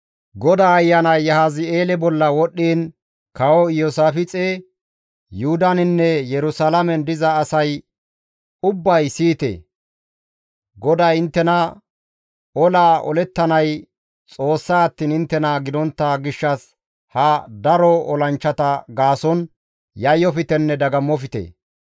GODAA Ayanay Yahazi7eele bolla wodhdhiin, «Kawo Iyoosaafixe, Yuhudaninne Yerusalaamen diza asay ubbay siyite! GODAY inttena, ‹Olaa olettanay Xoossa attiin inttena gidontta gishshas ha daro olanchchata gaason yayyoftenne dagammofte.